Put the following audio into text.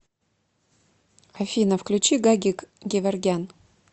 афина включи гагик геворгян